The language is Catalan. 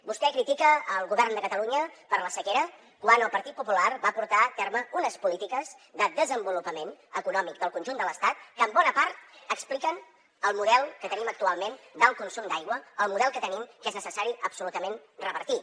vostè critica el govern de catalunya per la sequera quan el partit popular va portar a terme unes polítiques de desenvolupament econòmic del conjunt de l’estat que en bona part expliquen el model que tenim actualment d’alt consum d’aigua el model que tenim que és necessari absolutament revertir